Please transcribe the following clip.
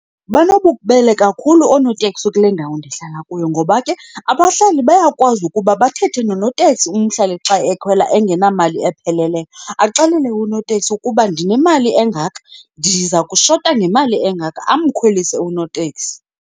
Banobubele kakhulu oonoteksi kule ndawo ndihlala kuyo ngoba ke abahlali bayakwazi ukuba bathethe nonoteksi umhlali xa ekhwela engenamali epheleleyo. Axelele unoteksi ukuba ndinemali engaka, ndiza kushota ngemali engaka, amkhwelise unoteksi.